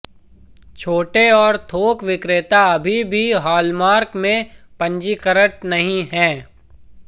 छोटे और थोक विक्रेता अभी भी हॉलमार्क में पंजीकृत नहीं हैं